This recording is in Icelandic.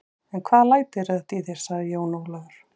En hvaða læti eru þetta í þér, sagði Jón Ólafur.